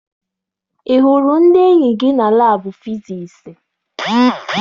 Ị hụrụ ndị enyi gị na laabụ fisiisi?